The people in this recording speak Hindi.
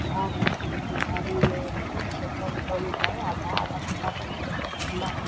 घर है जो कि घर में ये शटर बंद है आधा आधा थोडा सा शटर खुला है। .